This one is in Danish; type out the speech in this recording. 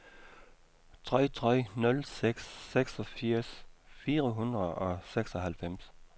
tre tre nul seks seksogfirs fire hundrede og seksoghalvfems